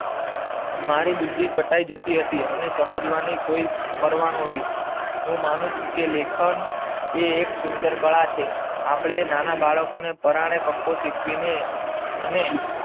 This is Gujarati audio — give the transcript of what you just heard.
મારી બુદ્ધિ કટાય જતી હતી અને એની સમજવાની કોઈ પરવાહ ના હતી. હું માનું છું કે લેખન એ એક સુંદર કાળા છે આપડે નાના બાળકો ને પરાણે કક્કો શીખવી ને અને